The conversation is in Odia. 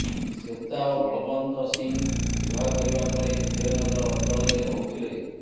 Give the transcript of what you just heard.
ଶ୍ରେତା ଓ ବଳବନ୍ତ ସିଂ ବିବାହ କରିବା ପରେ ବିଜୟନଗର ଅଚଳରେ ରହୁଥିଲେ